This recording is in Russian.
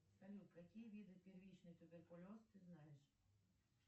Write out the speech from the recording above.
салют какие виды первичный туберкулез ты знаешь